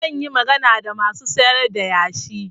Zan yi magana da masu sayar da yashi.